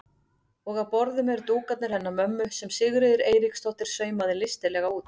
Og á borðum eru dúkarnir hennar mömmu sem Sigríður Eiríksdóttir saumaði listilega út.